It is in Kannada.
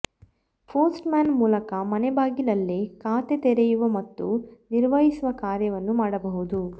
ಪೋಸ್ಟ್ ಮ್ಯಾನ್ ಮೂಲಕ ಮನೆ ಬಾಗಿಲಲ್ಲೇ ಖಾತೆ ತೆರೆಯುವ ಮತ್ತು ನಿರ್ವಹಿಸುವ ಕಾರ್ಯವನ್ನು ಮಾಡಬಹುದು